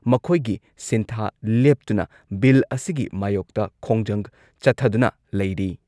ꯃꯈꯣꯏꯒꯤ ꯁꯤꯟꯊꯥ ꯂꯦꯞꯇꯨꯅ ꯕꯤꯜ ꯑꯁꯤꯒꯤ ꯃꯥꯌꯣꯛꯇ ꯈꯣꯡꯖꯪ ꯆꯠꯊꯗꯨꯅ ꯂꯩꯔꯤ ꯫